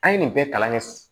An ye nin bɛɛ kalan kɛ